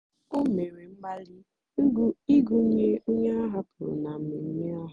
o mèrè mgbalị́ ịgụ́nyè ònyè áhàpụrụ́ na mmèmme ahụ́.